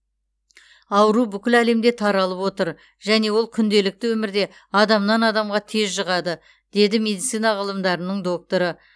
ауру бүкіл әлемде таралып отыр және ол күнделікті өмірде адамнан адамға тез жұғады деді медицина ғылымдарының докторы